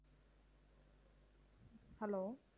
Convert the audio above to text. hello